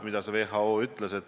Mida WHO ütles?